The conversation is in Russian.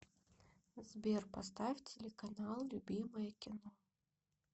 сбер поставь телеканал любимое кино